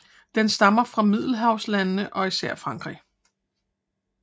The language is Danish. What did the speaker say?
Den stammer fra Middelhavslandene og især Frankrig